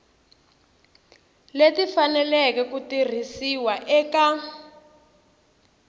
leti faneleke ku tirhisiwa eka